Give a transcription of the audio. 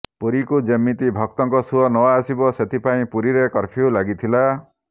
ପୁରୀକୁ ଯେମିତି ଭକ୍ତଙ୍କ ସୁଅ ନ ଆସିବ ସେଥିପାଇଁ ପୁରୀରେ କର୍ଫ୍ୟୁ ଲାଗିଥିଲା